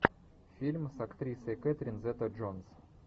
фильм с актрисой кэтрин зета джонс